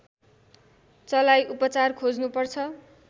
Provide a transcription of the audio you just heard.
चलाई उपचार खोज्नु पर्छ